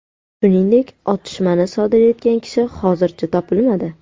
Shuningdek, otishmani sodir etgan kishi hozircha topilmadi.